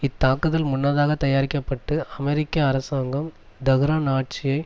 இத்தாக்குதல் முன்னதாக தயாரிக்க பட்டு அமெரிக்க அரசாங்கம் தெஹ்ரான் ஆட்சியை